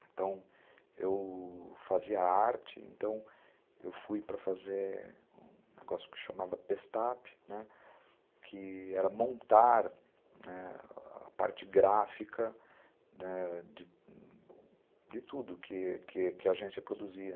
Então, eu fazia arte, então eu fui para fazer um negócio que se chamava pestafe, que era montar a parte gráfica ãh de tudo que que a agência produzia.